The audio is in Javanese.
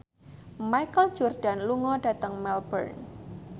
Michael Jordan lunga dhateng Melbourne